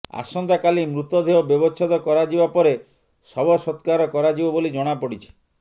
ଆସନ୍ତାକାଲି ମୃତଦେହ ବ୍ୟବଚ୍ଛେଦ କରାଯିବା ପରେ ଶବ ସତ୍କାର କରାଯିବ ବୋଲି ଜଣାପଡ଼ିଛି